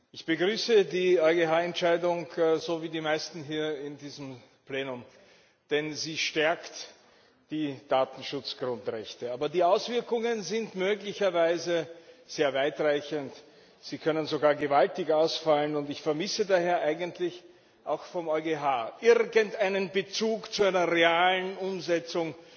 Ich begrüße die EuGH Entscheidung, so wie die meisten hier in diesem Plenum, denn sie stärkt die Datenschutzgrundrechte. Aber die Auswirkungen sind möglicherweise sehr weitreichend, sie können sogar gewaltig ausfallen. Ich vermisse daher eigentlich auch vom EuGH irgendeinen Bezug zu einer realen Umsetzung,